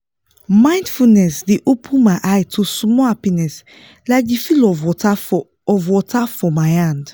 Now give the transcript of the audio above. mindfulness dey open my eye to small happiness like the feel of water for of water for my hand.